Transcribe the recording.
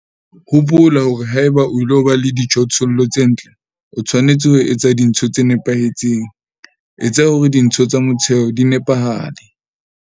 Hopola hore haeba o ilo ba le dijothollo tse ntle, o tshwanetse ho etsa dintho tse nepahetseng - etsa hore dintho tsa motheo di nepahale.